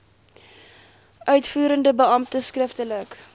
uitvoerende beampte skriftelik